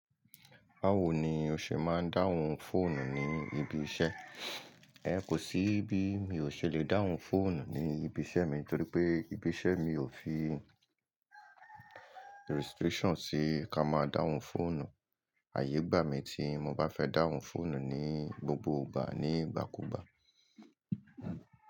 Báwo ni o ṣe máa ń dáhùn fóònù ní ibi iṣẹ́? Ẹ kò sí bí mi ò ṣe lè dáhùn fóònù ní ibi iṣẹ́ mi torí pé ibi iṣẹ́ mi ò fì restrictions sí ká máa dáhùn fóònù. Àyè gbà mí tí mo bá fẹ́ dáhùn fóònù ni gbogbo ìgbà ní ìgbàkúgbà.